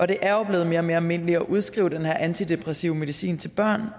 det er jo blevet mere og mere almindeligt at udskrive den her antidepressive medicin til børn